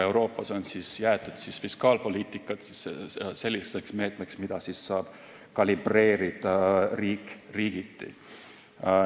Euroopas on jäetud fiskaalpoliitika selliseks meetmeks, mida siis saab kalibreerida riigiti.